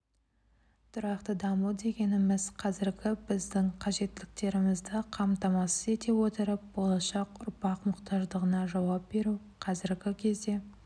тұрақты даму дегенімз қазіргі біздің қажеттіліктерімізді қамтамасыз ете отырып болашақ ұрпақ мұқтаждығына жауап беру қазіргі кезде